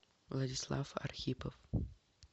владислав архипов